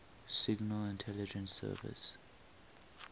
signal intelligence service